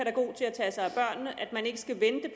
tage sig at man ikke skal